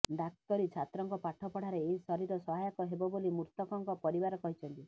ଡାକ୍ତରୀ ଛାତ୍ରଙ୍କ ପାଠ ପଢ଼ାରେ ଏହି ଶରୀର ସହାୟକ ହେବ ବୋଲି ମୃତକଙ୍କ ପରିବାର କହିଛନ୍ତି